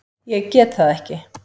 Ég get það ekki!